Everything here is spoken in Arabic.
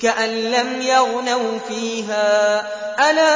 كَأَن لَّمْ يَغْنَوْا فِيهَا ۗ أَلَا